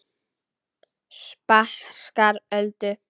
Sparkar Öldu.